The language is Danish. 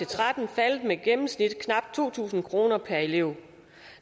og tretten faldet med gennemsnitligt knap to tusind kroner per elev